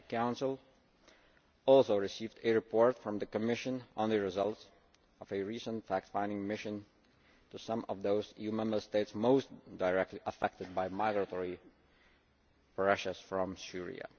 The Council also received a report from the Commission on the results of a recent fact finding mission to some of those EU Member States most directly affected by migratory pressures from Syria.